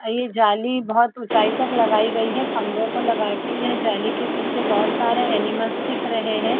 और ये जाली बहोत उचाई तक लगायी है खम्भे पे लगायी है यह जाली के पीछे बहुत सारे एनिमल्स दिख रहे है।